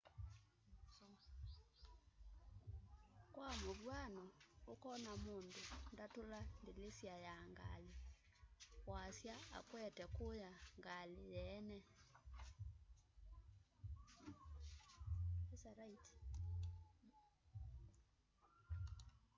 kwa mũvyano ũkona mũndũ ndatũla ndĩlĩsya ya ngalĩ wasya akwete kuya ngalĩ yeene